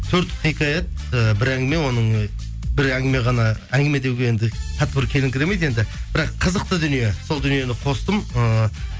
төрт хикаят і бір әңгіме оның бір әңгіме ғана әңгіме деуге енді тап бір келіңкіремейді енді бірақ қызықты дүние сол дүниені қостым ыыы